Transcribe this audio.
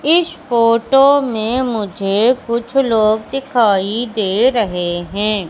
इस फोटो में मुझे कुछ लोग दिखाई दे रहे हैं।